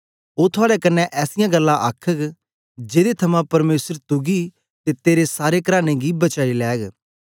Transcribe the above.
ओ थुआड़े कन्ने ऐसीयां गल्लां आखघ जेदे थमां परमेसर तुगी ते तेरे सारे कराने गी बचाई लैग